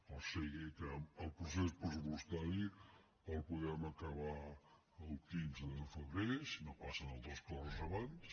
o sigui que el procés pressupostari el podem acabar el quinze de febrer si no passen altres coses abans